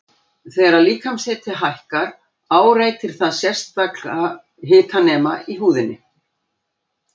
Þegar líkamshiti hækkar áreitir það sérstaka hitanema í húðinni.